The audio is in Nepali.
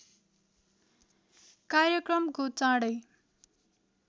कार्यक्रमको चाँडै